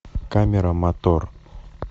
камера мотор